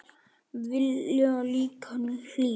Vilja líka hlýju.